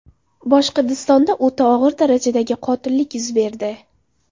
Boshqirdistonda o‘ta og‘ir darajadagi qotillik yuz berdi.